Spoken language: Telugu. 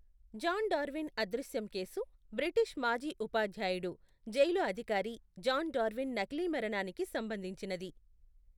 జాన్ డార్విన్ అదృశ్యం కేసు, బ్రిటిష్ మాజీ ఉపాధ్యాయుడు, జైలు అధికారి జాన్ డార్విన్ నకిలీ మరణానికి సంబంధించినది.